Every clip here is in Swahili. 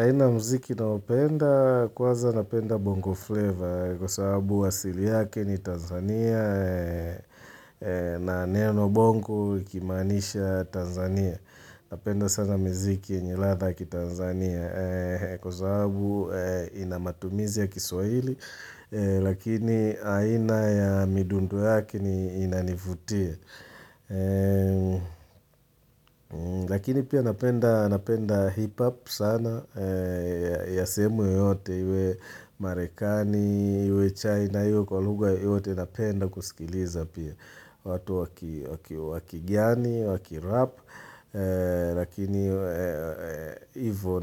Aina mziki naopenda kuwaza napenda bongo flavor kwa sababu wasili yake ni Tanzania na neno bongo ikimanisha Tanzania. Napenda sana mziki ni radha ki Tanzania kwa sababu inamatumizi ya kiswahili lakini aina ya midundo yake inanifutia. Lakini pia napenda hip hop sana ya sehemu yote iwe marekani, iwe china, iwe kwa lhuga yote napenda kusikiliza pia watu wakigiani, wakirap Lakini ivo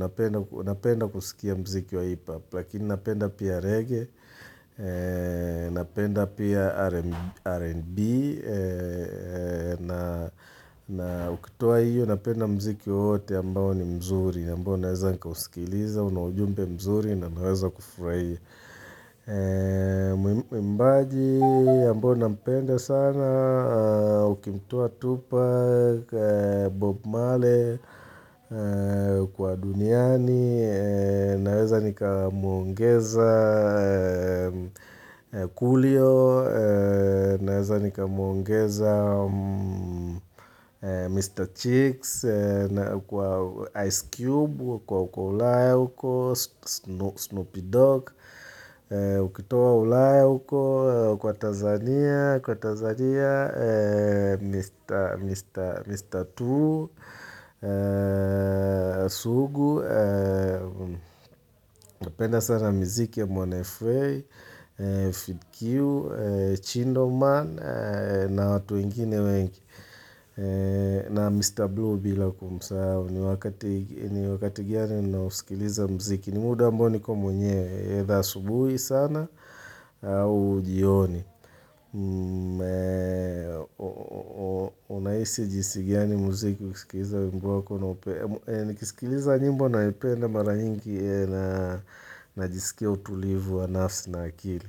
napenda kusikia mziki wa hip hop Lakini napenda pia reggae Napenda pia R&B na ukitua hiyo napenda mziki hote ambao ni mzuri ambao naweza nikausikiliza, una ujumbe mzuri na naweza kufurahi Napenda pia R&B na ukitua hiyo napenda mziki hote ambao ni mzuri ambao naweza nikausikiliza, una ujumbe mzuri na naweza kufurahi Mbaji yambao na mpenda sana Ukimtua Tupa, Bob Marley kwa duniani Cheeks Kwa Ice Cube, kwa ulae uko Snoopy Dogg Ukitowa ulaya uko Kwa Tanzania Kwa Tanzania Mr. True Sugu Napenda sana miziki ya Mwanafei FeedQ Chindo man watu wakigiani, wakirap Lakini ivo napenda kusikia mziki wa hip hop Lakini napenda pia reggae blue bila kumsahau ni wakati gani na usikiliza muziki ni muda ambao niko mwenyewe eitha subuhi sana au jioni. Unahisi jinsi gani muziki usikiliza wengu wako na opere ni kisikiliza nyimbo na penda mara nyingi najisikia utulivu wa nafsi na akili.